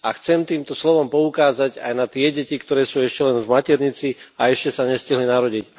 A chcem týmto slovom poukázať aj na tie deti, ktoré sú ešte len v maternici a ešte sa nestihli narodiť.